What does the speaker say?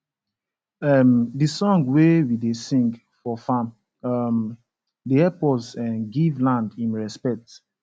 um d song wey we da sing for farm um da hep us um give land him respet